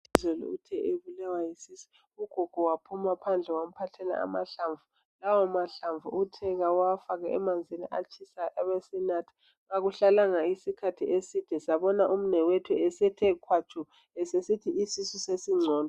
Izolo uthe ebulawa yisisu, ugogo waphuma phandle wamphathela amahlamvu .Lawo mahlamvu uthe kawafake emanzini atshisayo abe esenatha. Akuhlalanga isikhathi eside sabona umnewethu esethe khwatshu usesithi isisu sesingcono.